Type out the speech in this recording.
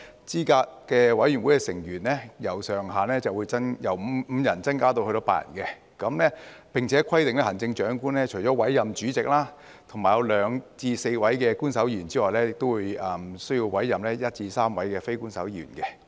資審會的成員上限會由5人增至8人，並且規定行政長官除了委任主席及2至4名官守成員外，亦須委任1至3名非官守成員。